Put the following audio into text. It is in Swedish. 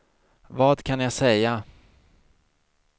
vad kan jag säga